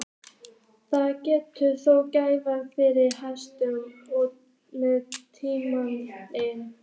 Það gerði þó gæfumuninn fyrir hænuhaus með ímyndunarafl.